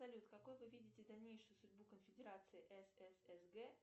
салют какой вы видите дальнейшую судьбу конфедерации сссг